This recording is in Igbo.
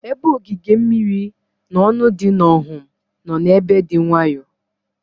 Ebe ogige mmiri na ọnụ dị n'Ọhum nọ ebe dị nwayọọ.